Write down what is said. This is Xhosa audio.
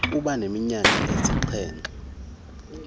kuba neminyaka esixhenxe